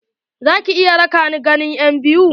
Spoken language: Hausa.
Za ki iya raƙa ni ganin enbiyu?